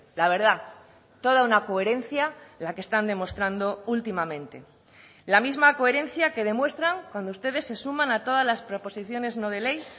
la verdad toda una coherencia la que están demostrando últimamente la misma coherencia que demuestran cuando ustedes se suman a todas las proposiciones no de ley